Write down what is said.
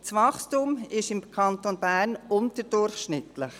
Das Wachstum ist im Kanton Bern unterdurchschnittlich.